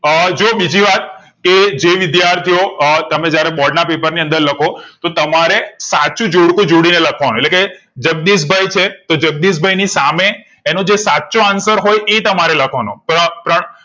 અ જો બીજી વાત કે જે વિદ્યાર્થીઓ અ તમે જયારે બોર્ડ ના paper ની અંદર લખો તો તમારે સાચું જોડકું જોડી ને લાખ વા નું એટલે કે જગદીશભાઈ છે એ જગદીશભાઈ ની સામે એનો જે સાચો answer એ તમારે લાખ વનો પ્ર પ્રણ